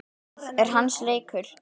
Það er hans leikur.